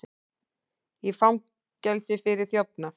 Í fangelsi fyrir þjófnað